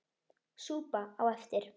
Súpa á eftir.